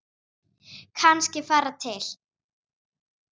Kannski fara til